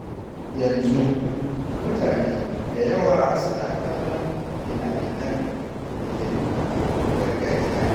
Yanzu, mutane da yawa suna kallon fina-finan da ke nuna al’adun gargajiya.